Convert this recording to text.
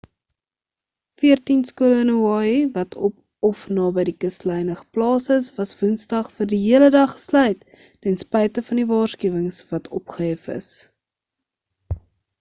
veertien skole in hawaii wat op of naby die kuslyne geplaas is was woensdag vir die hele dag gesluit ten spyte van die waarskuwings wat opgehef is